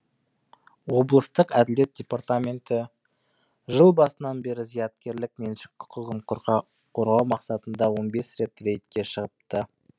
облыстық әділет департаменті жыл басынан бері зияткерлік меншік құқығын қорғау мақсатында он бес рет рейдке шығыпты